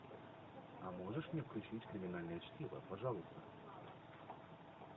а можешь мне включить криминальное чтиво пожалуйста